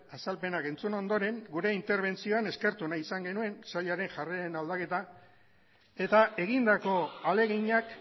azalpenak entzun ondoren gure interbentzioan eskertu nahi izan genuen sailaren jarreren aldaketa eta egindako ahaleginak